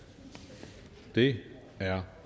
det er